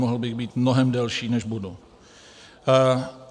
Mohl bych být mnohem delší, než budu.